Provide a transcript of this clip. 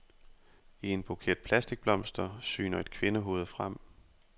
I en buket plastikblomster syner et kvindehoved frem.